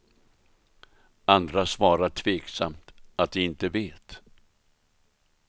Andra svarar tveksamt att de inte vet.